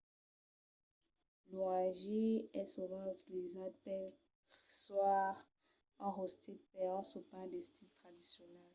lo hangi es sovent utilizat per còire un rostit per un sopar d'estil tradicional